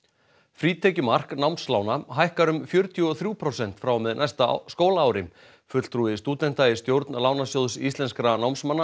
frítekjumark námslána hækkar um fjörutíu og þrjú prósent frá og með næsta skólaári fulltrúi stúdenta í stjórn Lánasjóðs íslenskra námsmanna